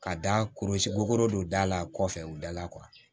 Ka da kurusi gogolo don da la kɔfɛ u dala